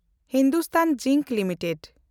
Hindustan Zinc limited